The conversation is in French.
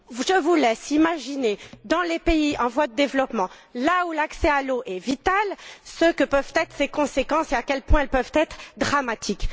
Je vous laisse imaginer, dans les pays en voie de développement, là où l'accès à l'eau est vital, ce que peuvent être ces conséquences et à quel point elles peuvent être dramatiques.